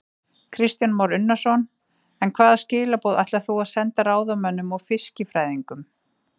Kristján Már Unnarsson: En hvaða skilaboð ætlar þú að senda ráðamönnum og fiskifræðingum?